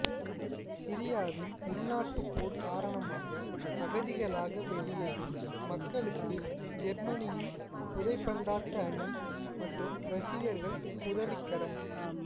சிரியாவின் உள்நாட்டுப்போர் காரணமாக அகதிகளாக வெளியேறும் மக்களுக்கு ஜேர்மனியின் உதைப்பந்தாட்ட அணி மற்றும் ரசிகர்கள் உதவிக்கரம்